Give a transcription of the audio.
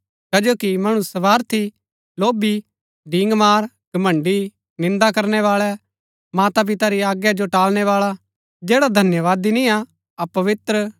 कजो कि मणु स्‍वार्थी लोभी डींगमार घमण्‍ड़ी निन्दा करनै बाळै मां पिता री आज्ञा जो टालनै बाळा जैड़ा धन्यवादी निय्आ अपवित्र